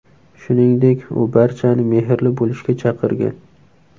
Shuningdek, u barchani mehrli bo‘lishga chaqirgan.